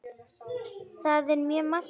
Það er mjög magnað.